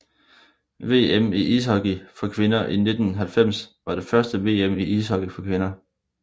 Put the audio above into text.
VM i ishockey for kvinder 1990 var det første VM i ishockey for kvinder